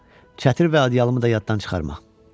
Çətir və adyalımı da yaddan çıxarma.